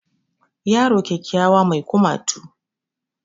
Yaro kyakkyawa mai kumatu